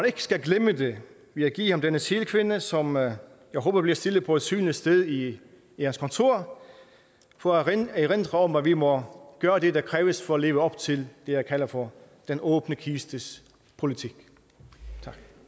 ikke skal glemme det vil jeg give ham denne sælkvinde som jeg håber bliver stillet på et synligt sted i jeres kontor for at erindre om at vi må gøre det der kræves for at leve op til det jeg kalder for den åbne kistes politik